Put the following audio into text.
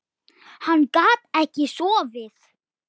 Hann gat ekki sofið.